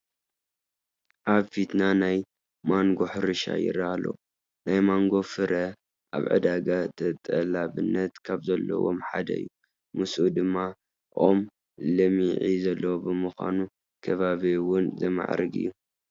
ኣብ ፊትና ናይ ማንጐ ሕርሻ ይርአ ኣሎ፡፡ ናይ ማንጐ ፍረ ኣብ ዕዳጋ ተጠላብነት ካብ ዘለዎም ሓደ እዩ፡፡ ምስኡ ድማ ኦሙ ለምዒ ዘለዎ ብምዃኑ ንከባቢ እውን ዘማዕርግ እዩ፡፡